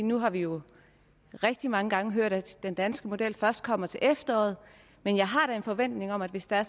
nu har vi jo rigtig mange gange hørt at den danske model først kommer til efteråret men jeg har da en forventning om at hvis det er